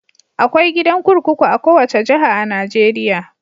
Akwai gidan kurkuku a kowace jiha a Najeriya.